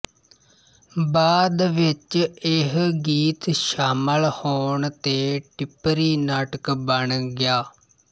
ਬਾਅਦ ਵਿੱਚ ਇਹ ਗੀਤ ਸਾਮਲ ਹੋਣ ਤੇ ਟਿਪਰੀ ਨਾਟਕ ਬਣ ਗਿਆ